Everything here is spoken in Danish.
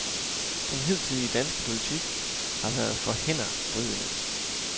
Den hidtidige danske politik har været for hændervridende.